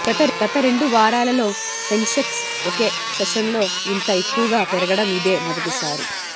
గత రెండు వారాలలో సెనె్సక్స్ ఒకే సెషన్లో ఇంత ఎక్కువగా పెరగడం ఇదే మొదటిసారి